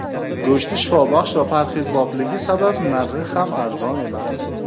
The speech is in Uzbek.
Go‘shti shifobaxsh va parhezbopligi sabab, narxi ham arzon emas.